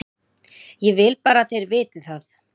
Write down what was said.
Ég vil bara að þeir viti það.